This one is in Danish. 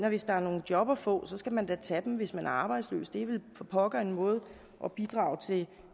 at hvis der er nogle job at få skal man da tage dem hvis man er arbejdsløs det er vel for pokker en måde at bidrage til